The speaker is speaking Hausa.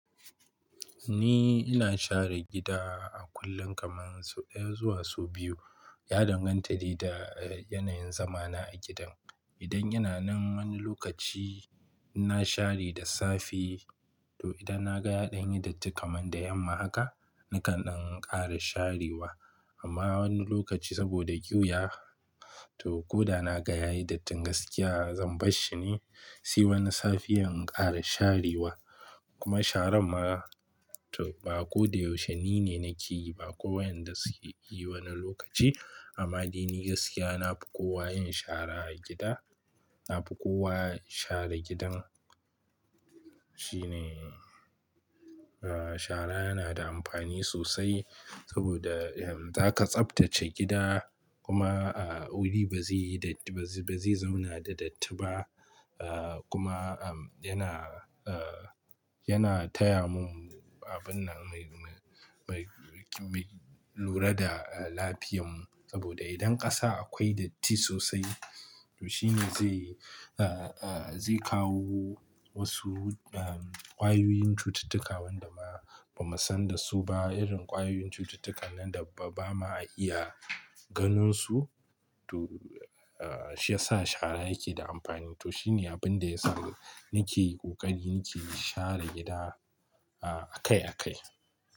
Ni ina share gida a kullum, kamar sau ɗaya zuwa sau biyu. Ya danganta da, eh, yanayin zamana a gidan. Idan yana nan wani lokaci ina share da safi. To idan na ga ya ɗan datti kamar da yamma haka, nakan ɗan ƙara sharewa. Amma wani lokaci saboda ƙiwuya, to ko da na ga yayi dattin gaskiya, zan bar shi ne. Si wani safiyan in ƙara sharewa. Kuma sharan ma, to ba ko da yaushe ni ne nake yi ba, akwai wayanda suke yi wani lokaci. Amma ni gaskiya ni nafi kowa yin shara a gida. Nafi kowa share gidan. Shine, eh, shara yana da amfani sosai saboda, eh, zaka tsabtace gida kuma, eh, wuri ba zai, ba zai zauna da datti ba. Eh, kuma, ehm, yana, eh, yana taya mu abun lura da lafiyan mu. Saboda idan ƙasa akwai datti sosai, to shine zai, eh, eh, zai kawo wasu, ehm, ƙwayoyin cututtuka waɗanda ba, ba mu san da su ba. Irin ƙwayoyin cututtukan nan da ba ma iya ganin su. To, eh, shi ya sa shara yake da amfani. To shine abin da yasa nake ƙoƙari nake share gida, eh, akai akai.